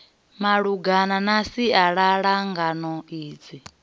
malungana na sialala ngano idzi